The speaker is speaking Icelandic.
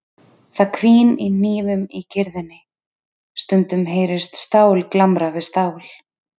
Það hvín í hnífum í kyrrðinni, stundum heyrist stál glamra við stál.